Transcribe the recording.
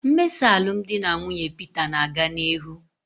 Mmesa alụmdi na nwunye Peter na-aga n'ihu